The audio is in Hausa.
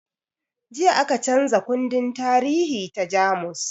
Jiya aka canza kundin tarihi ta jamus